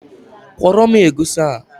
Kwọrọ m egusi a